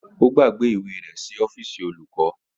Ó gbàgbé ìwé rẹ̀ ní ọ́fíìsì olùkọ́ni.